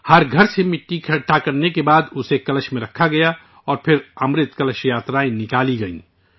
ہر گھر سے مٹی جمع کرنے کے بعد اسے کلش گھڑےمیں رکھا گیا اور پھر امرت کلش یاترائیں نکالی گئیں